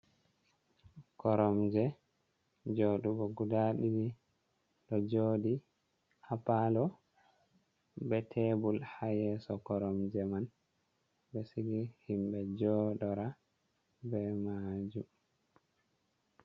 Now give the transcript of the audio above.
Koromje joɗugo guda ɗiɗi ɗo joɗi ha palo be tebul ha yeso koromje man, ɓe sigi himɓe joɗoro be majum.